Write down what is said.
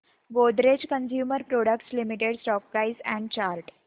Godrej consumer products limited stock price and chart